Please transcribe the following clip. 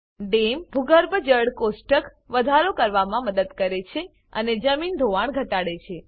dam ભૂગર્ભ જળ કોષ્ટક વધારો કરવામાં મદદ કરે છે અને જમીન ધોવાણ ઘટાડે છે